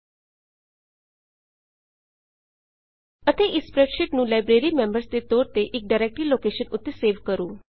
ਲਟ ਵਕਫ਼ਾ ਜੀਟੀ ਅਤੇ ਇਸ ਸਪ੍ਰੈਡਸ਼ੀਟ ਨੂੰ ਲਾਈਬ੍ਰੇਰੀ ਮੈਂਬਰਜ਼ ਲਾਈਬ੍ਰੇਰੀ ਮੈਂਬਰਜ਼ ਦੇ ਤੌਰ ਤੇ ਇੱਕ ਡਾਈਰੈਕਟ੍ਰੀ ਲੋਕੇਸ਼ਨ ਉੱਤੇ ਸੇਵ ਕਰੋ